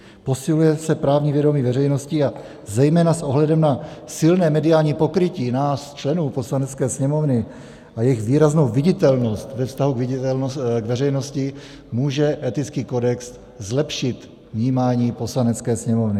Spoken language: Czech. Posiluje se právní vědomí veřejnosti a zejména s ohledem na silné mediální pokrytí nás členů Poslanecké sněmovny a jejich výraznou viditelnost ve vztahu k veřejnosti může etický kodex zlepšit vnímání Poslanecké sněmovny.